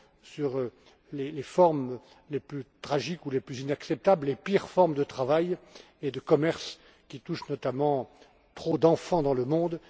sur les formes les plus tragiques ou les plus inacceptables, les pires formes de travail et de commerce, qui touchent notamment trop d'enfants dans le monde.